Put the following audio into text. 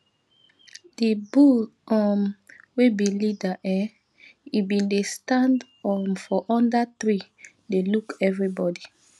the bull um wey be leader um um bin dey stand um for under tree dey look everybody